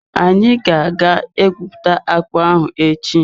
Anyi ga-aga egwupụta akpụ ahụ echi.